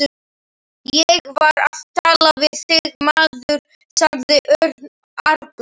Ég var að tala við þig, maður sagði Örn argur.